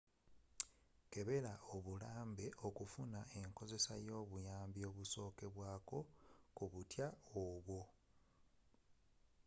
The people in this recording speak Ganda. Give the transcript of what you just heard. kebela obulambe okufuna enkozesa y'obuyambi obusokerwaako ku butwa obwo